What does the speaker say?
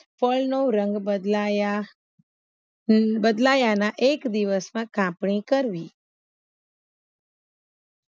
ફળનો રંગ બદલાયા હન બદલાયાના એક દિવસમાં કાપણી કરવી